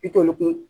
Bitoli kun